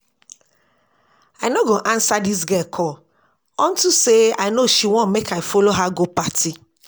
I no go answer dis girl call unto say I no she wan make I follow her go party